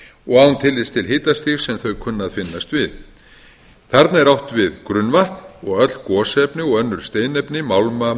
og án tillits til hitastigs sem þau kunna að finnast við þarna er átt við grunnvatn og öll gosefni og önnur steinefni málma